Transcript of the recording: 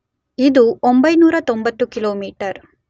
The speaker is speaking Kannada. ಇದು 990 ಕಿಲೋಮೀಟರ್